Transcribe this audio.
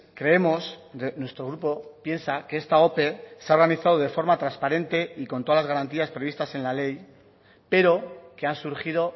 creemos nuestro grupo piensa que esta ope se ha organizado de forma transparente y con todas las garantías previstas en la ley pero que han surgido